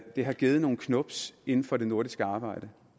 det har givet nogle knubs inden for det nordiske arbejde